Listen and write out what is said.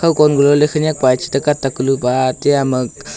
hu kon guloley khanyak pai che tak ka lu pa tiya ma.